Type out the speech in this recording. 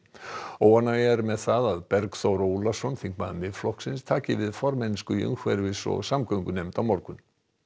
óánægja er með það að Bergþór Ólason þingmaður Miðflokksins taki við formennsku í umhverfis og samgöngunefnd á morgun